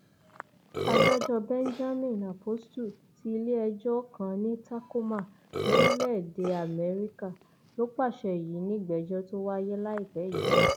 adájọ benjamin apostle ti iléẹjọ kan ní tacoma lórílẹèdè amẹríkà ló pàṣẹ yìí nígbẹjọ tó wáyé láìpẹ yìí